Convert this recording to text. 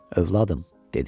Övladım, dedi.